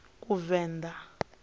kuvenḓa